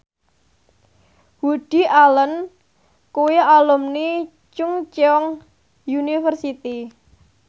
Woody Allen kuwi alumni Chungceong University